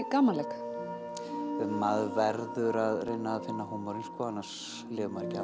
gamanleik ja maður verður að reyna að finna húmorinn annars lifir maður